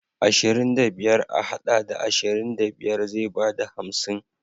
Ashirin da biyar a haɗa da ashirin da biyar zai bada hamsin.